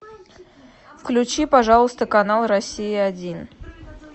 включи пожалуйста канал россия один